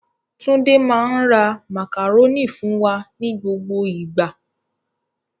Tunde máa ń rà màkàrónì fún wà ní gbogbo ìgbà.